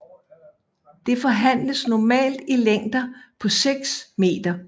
Det forhandles normalt i længder på 6 meter